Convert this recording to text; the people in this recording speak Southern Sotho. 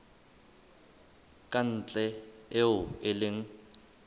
ka ntle eo e leng